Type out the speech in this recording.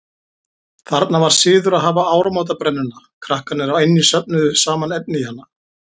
Þarna var siður að hafa áramótabrennuna, krakkarnir á eynni söfnuðu saman efni í hana.